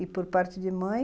E por parte de mãe...